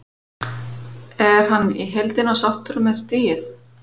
Er hann í heildina sáttur með stigið?